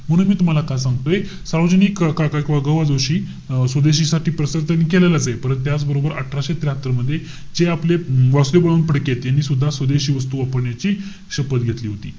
म्हणून मी तुम्हाला काय सांगतोय सरोजिनी काका किंवा ग बा जोशी अं स्वदेशीसाठी प्रसार त्यांनी केलेलाचे. परंतु त्याचबरोबर अठराशे त्र्याहात्तर मध्ये जे आपले वासुदेव बळवंत फडकेत, यांनी सुद्धा स्वदेशी वस्तू वापरण्याची शपथ घेतली होती.